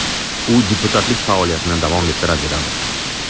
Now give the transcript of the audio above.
U deputatlik faoliyatini davom ettiraveradi.